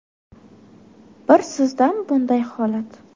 Bir sizdami bunday holat?